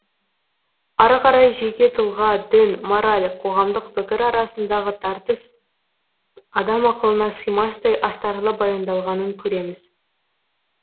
ары қарай жеке тұлға дін мораль қоғамдық пікір арасындағы тартыс адам ақылына сыймастай астарлы баяндалғанын көреміз